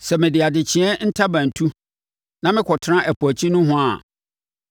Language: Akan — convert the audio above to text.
Sɛ mede adekyeeɛ ntaban tu na mekɔtena ɛpo akyi nohoa a,